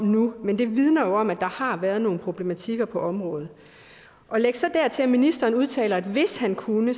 nu men det vidner jo om at der har været nogle problematikker på området læg så dertil at ministeren udtaler at hvis han kunne